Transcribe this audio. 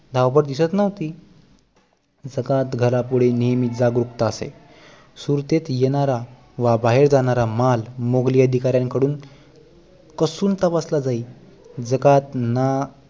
धावपळ दिसत नव्हती जकात घरा कडे नेहमी जागरूकता असे सुरतेत येणार व बाहेर जाणारा माल मोगली अधिकाऱ्यां कडून कसून तपासला जाई जकात न